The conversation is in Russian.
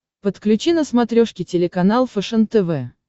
подключи на смотрешке телеканал фэшен тв